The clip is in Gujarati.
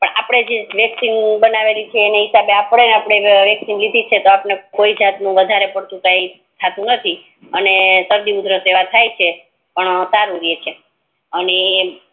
અપડે વેક્સિન બનાવેલી છે એના હિસાબે આપડે વેકસીં લીધે છે તો કોઈ જાત નું વધારે પડતું કી થતું નથી અને સરડી ઉધરસ એવા થી છે પણ સારું રે છે અને